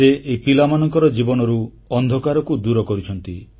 ସେ ଏହି ପିଲାମାନଙ୍କର ଜୀବନରୁ ଅନ୍ଧକାରକୁ ଦୂର କରିଛନ୍ତି